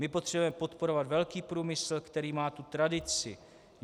My potřebujeme podporovat velký průmysl, který má tu tradici.